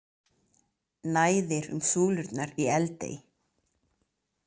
Næðir um súlurnar í Eldey